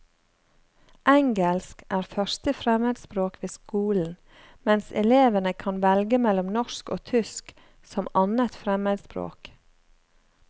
Engelsk er første fremmedspråk ved skolen, mens elevene kan velge mellom norsk og tysk som annet fremmedspråk.